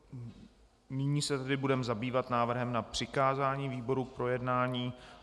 Nyní se tedy budeme zabývat návrhem na přikázání výborům k projednání.